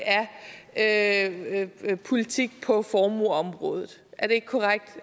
af politik på formueområde er det ikke korrekt